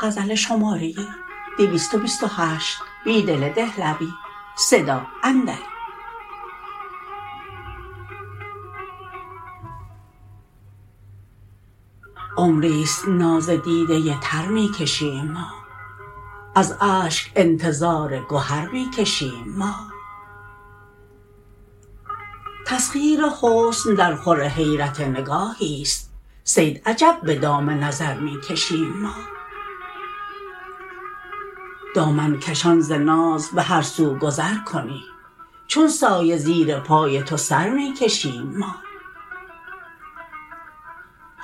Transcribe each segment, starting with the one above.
عمری ست ناز دیده تر می کشیم ما از اشک انتظارگهر می کشیم ما تسخیرحسن درخور حیرت نگاهی است صید عجب به دام نظرمی کشیم ما دامن کشان ز ناز به هر سوگذرکنی چون سایه زیرپای توسرمی کشیم ما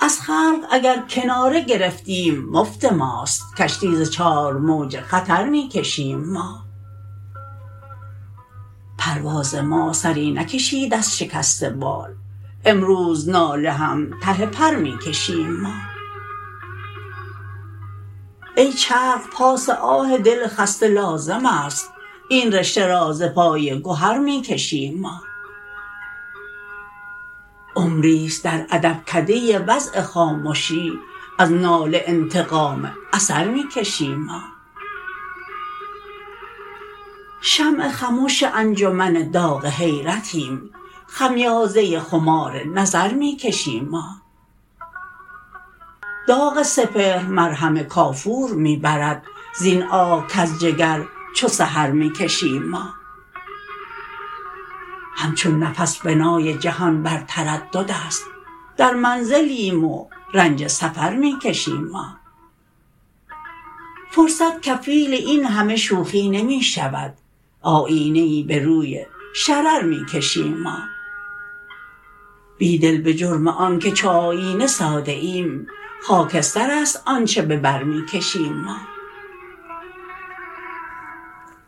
از خلق اگرکناره گرفتیم مفت ماست کشتی زچارموج خطرمی کشیم ما پروازما سری نکشید ازشکست بال امروزناله هم ته پر می کشیم ما ای چرخ پاس آه دل خسته لازم است این رشته را ز پای گوهر می کشیم ما عمری ست درادبکده وضع خامشی از ناله انتقام اثر می کشیم ما شمع خموش انجمن داغ حیرتیم خمیازه خمار نظر می کشیم ما داغ سپهر مرهم کافور می برد زین آه کزجگر چوسحرمی کشیم ما همچون نفس بنای جهان برتردداست درمنزلیم ورنج سفرمی کشیم ما فرصت کفیل این همه شوخی نمی شود آیینه ای به روی شرر می کشیم ما بیدل به جرم آنکه چو آیینه ساده ایم خاکسترست آنچه به بر می کشیم ما